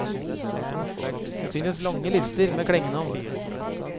Det finnes lange lister med klengenavn.